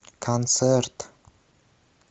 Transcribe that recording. концерт